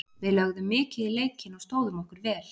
Við lögðum mikið í leikinn og stóðum okkur vel.